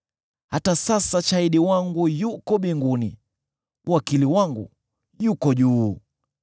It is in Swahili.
Hata sasa shahidi wangu yuko mbinguni; wakili wangu yuko juu.